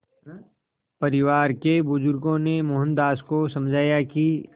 परिवार के बुज़ुर्गों ने मोहनदास को समझाया कि